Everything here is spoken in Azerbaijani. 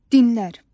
Dinlər.